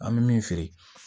An bɛ min feere